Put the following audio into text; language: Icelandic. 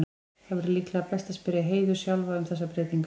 Það væri líklega best að spyrja Heiðu sjálfa um þessar breytingar.